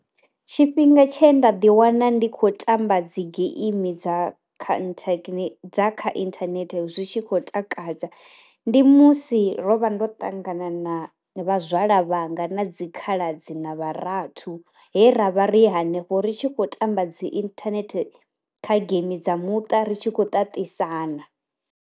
Tshifhinga tshe nda ḓi wana ndi kho tamba dzi geimi dza kha inthane dza kha inthanethe zwi tshi khou takadza, ndi musi ro vha ndo ṱangana na vha zwala vhanga na dzi khaladzi na vha rathu, he ravha ri hanefho ri tshi khou tamba dzi inthanehte kha game dza muṱa ri tshi khou ṱaṱisana.